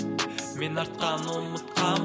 мен артқаны ұмытқамын